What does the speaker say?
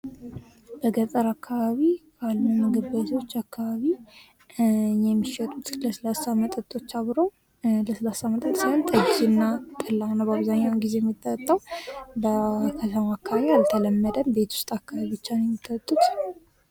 በገጠር አካባቢ ምግብ ቤቶች አካባቢ የሚሸጡት ለስላሳ መጠጦች አብረው ለስላሳ መጠጥ ሳይሆን ጠጅ እና ጠላ ነው ።አብዛኛው ጊዜ የሚጠጣው ከተማ አካባቢ አልተለመደም ቤት ውስጥ ብቻ ነው የሚጠጡት